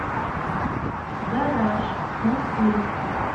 гараж мосфильм